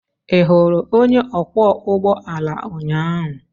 Ị hụrụ onye ọkwọ ụgbọ alaụnyaahụ?